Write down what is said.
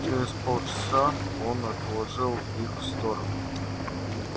через полчаса он отложил их в сторону